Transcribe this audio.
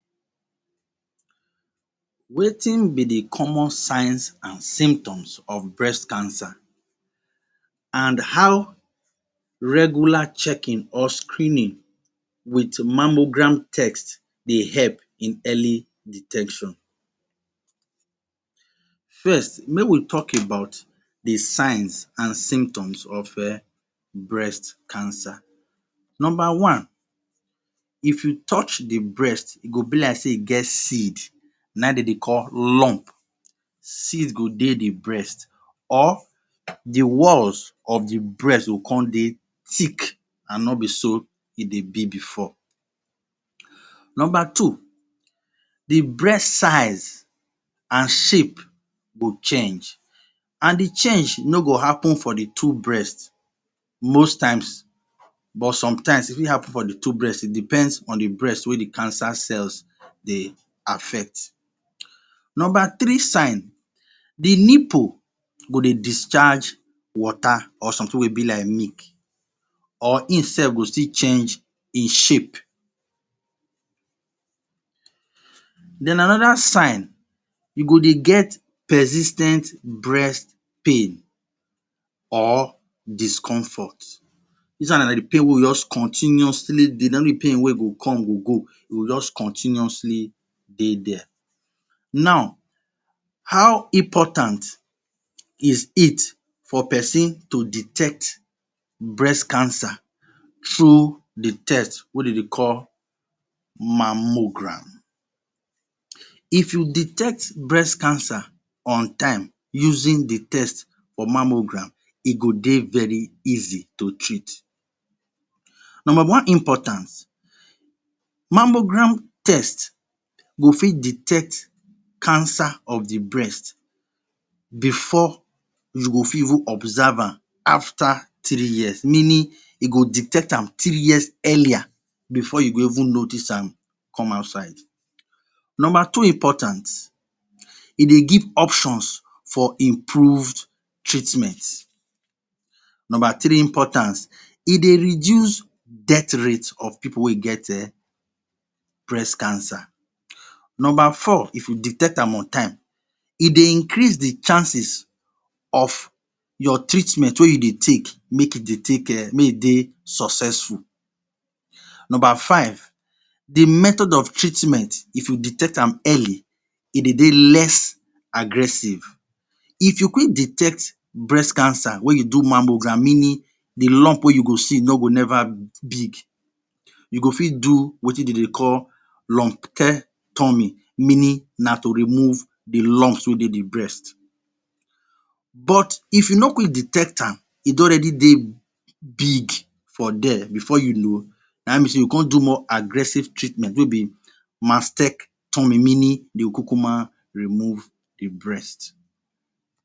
Wetin be the common signs an symptoms of breast cancer an how regular checking or screening with mammogram test dey help in early detection? First, make we talk about the signs an symptoms of um breast cancer. Nomba one, if you touch the breast, e go be like sey e get seed. Na ein de dey call lump. Seeds go dey the breast or the walls of the breast go con dey thick an no be so e dey be before. Nomba two, the breast size and shape go change, an the change no go happen for the two breast most times. But sometimes, e fit happen for the two breast. It depends on the breast wey the cancer cells dey affect. Nomba three sign, the nipple go dey discharge water or something wey be like milk, or einsef go still change ein shape. Then another sign, you go dey get persis ten t breast pain or discomfort. Dis one na the pain wey go juz continuously dey, no be pain wey go come go go, e go juz continuously dey there. Now, how important is it for peson to detect breast cancer through the test wey de dey call mammogram. If you detect breast cancer on time using the test for mammogram, e go dey very easy to treat. Nomba one importance: Mammogram test go fit detect cancer of the breast before you go fit even observe am after three years – meaning e go detect am three years earlier before you go even notice am come outside. Nomba two important: E dey give options for improved treatment. Nomba three importance: E dey reduce death rate of pipu wey e get um breast cancer. Nomba four, if you detect am on time, e dey increase the chances of your treatment wey you dey take, make e dey take um make e dey successful. Nomba five: The method of treatment if you detect am early, e dey dey less aggressive. If you quick detect breast cancer wey you do mammogram, meaning the lump wey you go see no go neva big, you go fit do wetin de dey call Lumpectomy, meaning na to remove the lumps wey dey the breast. But if you no quick detect am, e don alredy dey big for there before you know, dat mean sey you go con do more aggressive treatment Mastectomy, meaning de go kukuma remove the breast.